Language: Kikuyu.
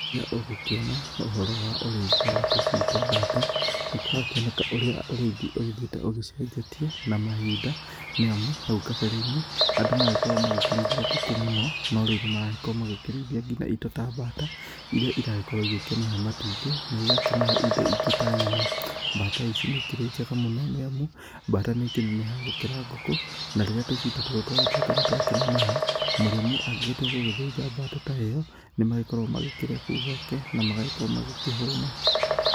Rĩrĩa ũgũkĩona ũhoro wa ũrĩithia wa tũcui twa mbata, nĩ kũrakĩoneka ũrĩa ũrĩithi ũgĩthiĩte ũgĩcenjetie na mahinda, nĩ amu hau kabere-inĩ, andũ magĩkoragwo magĩkĩrĩithia ngũkũ mũno no rĩu nĩ maragĩkorwo magĩkĩrĩithia nginya indo ta mbata irĩa iragĩkorwo ĩgĩkĩmahe matumbĩ na igakĩmahe indo ingĩ ta nyama. Mbata ici nĩ ikĩrĩ njega mũno , nĩ amu mbata nĩ ikĩnenehaga gũkĩra ngũkũ na rĩrĩa tũcui ta tũtũ twagĩtuĩka nĩ twakĩneneha, mũrĩmi angĩgĩtua nĩ gũgĩthĩnja mbata ta ĩyo, nĩ magĩkoragwo magĩkĩrĩa kũu gwake, na magagĩkorwo magĩkĩhũna.